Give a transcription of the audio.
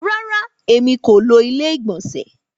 Rárá, èmi kò ló ilé ìgbònsè